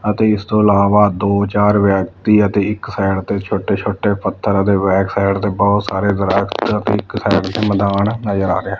ਅਤੇ ਇਸ ਤੋਂ ਇਲਾਵਾ ਦੋ ਚਾਰ ਵਿਅਕਤੀ ਅਤੇ ਇੱਕ ਸਾਈਡ ਤੇ ਛੋਟੇ ਛੋਟੇ ਪੱਥਰ ਅਤੇ ਬੈਕ ਸਾਈਡ ਤੇ ਬਹੁਤ ਸਾਰੇ ਦਰਖੱਤ ਅਤੇ ਇਕ ਸਾਇਡ ਤੇ ਮੈਦਾਨ ਨਜ਼ਰ ਆ ਰਿਹਾ ਏ।